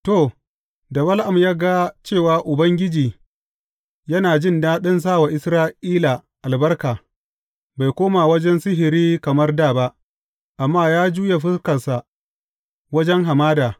To, da Bala’am ya ga cewa Ubangiji yana jin daɗin sa wa Isra’ila albarka, bai koma wajen sihiri kamar dā ba, amma ya juya fuskarsa wajen hamada.